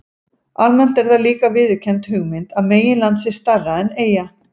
Almennt er það líka viðurkennd hugmynd að meginland sé stærra en eyja.